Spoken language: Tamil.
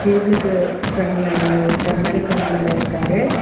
டேபிளுக்கு பிரண்ட்ல அந்த ஒருத்தர் மணி கவுண்டர்ல இருக்காரு.